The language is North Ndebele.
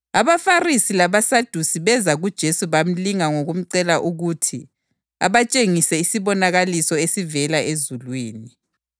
AbaFarisi labaSadusi beza kuJesu bamlinga ngokumcela ukuthi abatshengise isibonakaliso esivela ezulwini.